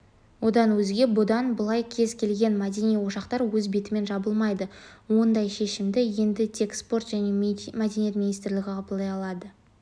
одан өзге бұдан былай кез келген мәдени ошақтар өз бетімен жабылмайды ондай шешімді енді тек спорт және мәдениет министрлігі қабылдай алады